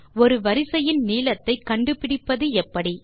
ஒரு வரிசையின் நீளத்தை கண்டு பிடிப்பது எப்படி